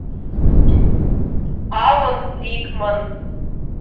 алан рикман